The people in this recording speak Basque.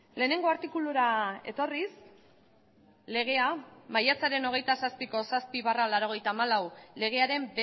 lehenengo artikulura etorriz legea maiatzaren hogeita zazpiko zazpi barra laurogeita hamalau legearen